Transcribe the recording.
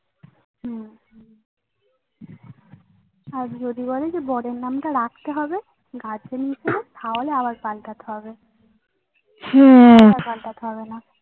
হম আর যদি বলে যে বরের নামটা রাখতে হবে তাহলে আবার পাল্টাতে হবে আর পালটাতে হবে না।